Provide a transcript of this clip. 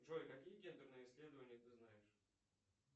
джой какие гендерные исследования ты знаешь